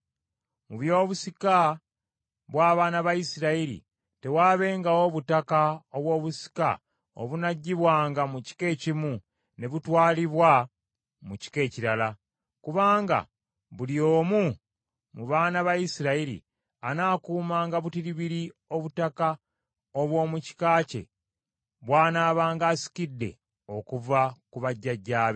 Mu by’obusika bw’abaana ba Isirayiri, tewaabengawo butaka obw’obusika obunaggibwanga mu kika ekimu ne butwalibwa mu kika ekirala, kubanga buli omu mu baana ba Isirayiri anaakuumanga butiribiri obutaka obw’omu kika kye bw’anaabanga asikidde okuva ku bajjajjaabe.